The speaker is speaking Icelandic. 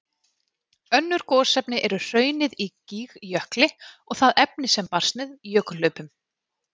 Önnur gosefni eru hraunið í Gígjökli og það efni sem barst með jökulhlaupum.